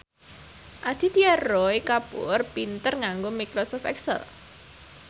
Aditya Roy Kapoor pinter nganggo microsoft excel